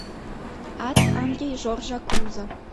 ад анри жоржа клузо